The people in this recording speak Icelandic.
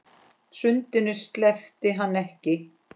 Sundinu sleppti hann ekki.